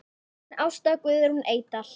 Þín Ásta Guðrún Eydal.